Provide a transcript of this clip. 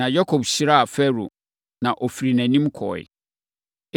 Na Yakob hyiraa Farao, na ɔfirii nʼanim kɔeɛ.